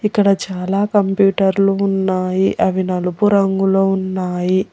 ఇక్కడ చాలా కంప్యూటర్లు ఉన్నాయి అవి నలుపు రంగులో ఉన్నాయి.